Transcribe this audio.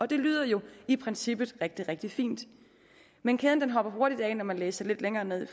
det lyder jo i princippet rigtig fint men kæden hopper hurtigt af når man læser lidt længere ned